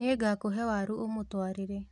Nĩngakũhe waru ũmũtwarĩre